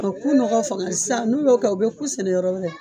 O ku nɔkɔ fanga sisan n'u y'o kɛ, u be ku sɛnɛ yɔrɔ wɛrɛ.